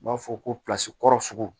U b'a fɔ ko kɔrɔ sugu